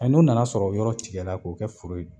Ɛ n'o nana sɔrɔ yɔrɔ tigɛla k'o kɛ foro ye dun